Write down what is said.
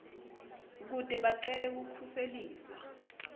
kute bacele kukhuseliswa